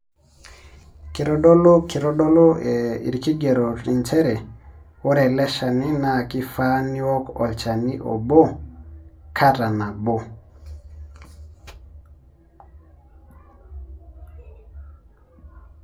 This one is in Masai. Kitodolu irkigerot nchere ore eleshani na kifaa niwok olchani obo kata nabo.